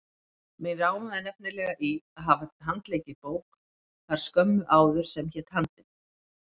Mig rámaði nefnilega í að hafa handleikið bók þar skömmu áður sem hét Handrit.